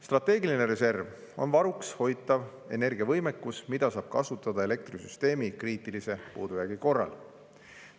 Strateegiline reserv on varuks hoitav energiavõimekus, mida saab kasutada elektrisüsteemi kriitilise puudujäägi korral.